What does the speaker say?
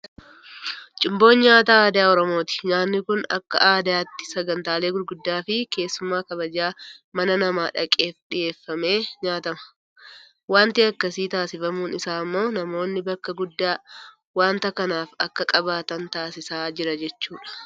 Cuumboo nyaata aadaa oromooti. Nyaanni kun akka aadaatti sagantaalee gurguddoofi keessummaa kabajaa mana namaa dhaqeef dhiyeeffamee nyaatama. Waanti akkasii taasifamuun isaa immoo namoonni bakka guddaa waanta kanaaf akka qabaatan taasisaa jira jechuudha.